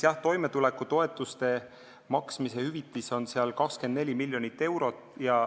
Toimetulekutoetuse maksmise hüvitise jaoks on seal 24 miljonit eurot.